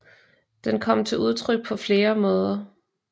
Den kom til udtryk på flere måder